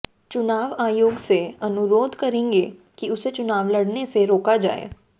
चुनाव आयोग से अनुरोध करेंगे कि उसे चुनाव लड़ने से रोका जाए